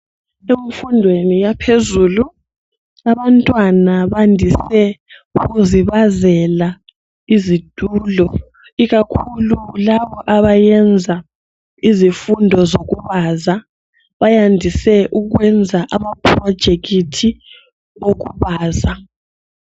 Emfundweni yaphezulu abantwana bandise ukuzibazela izitulo ikakhulu laba abayenza izifundo zokubaza. Bandise ukwenza ama "project' okubaza